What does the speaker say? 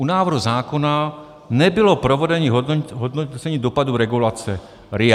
U návrhu zákona nebylo provedeno hodnocení dopadu regulace RIA.